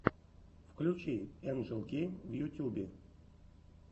включи энджел гейм в ютюбе